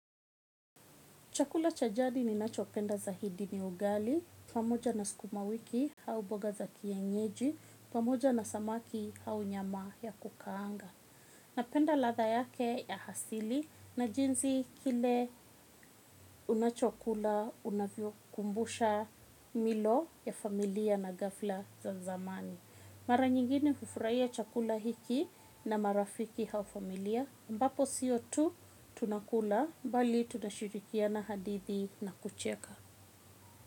Chakula cha jadi ninachopenda zaidi ni ugali, pamoja na sukuma wiki au mboga za kienyeji, pamoja na samaki au nyama ya kukaanga. Napenda ladha yake ya asili na jinsi kile unachokula unavyokumbusha milo ya familia na ghafla za zamani. Mara nyingine hufurahia chakula hiki na marafiki au familia, ambapo sio tu tunakula, bali tunashirikiana hadithi na kucheka.